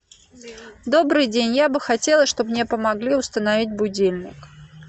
добрый день я бы хотела чтобы мне помогли установить будильник